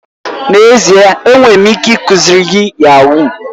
N'ezie! Enwere m ike ikuziri gị yahuu.